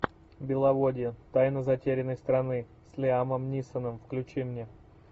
беловодье тайна затерянной страны с лиамом нисоном включи мне